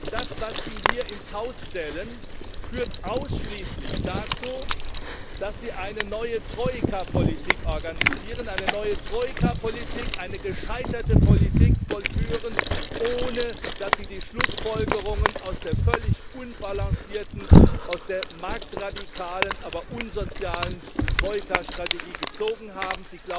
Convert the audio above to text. Das, was Sie hier ins Haus stellen, führt ausschließlich dazu, dass Sie eine neue Troika Politik organisieren, eine neue Troika Politik, eine gescheiterte Politik vollführen, ohne dass Sie die Schlussfolgerungen aus der völlig unbalancierten, marktradikalen, aber unsozialen Troika Strategie gezogen haben.